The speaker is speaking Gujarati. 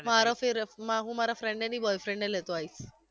મારા ફિલપમાં હુ મારા friend ને નઈ boyfriend ને લેતો આઈશ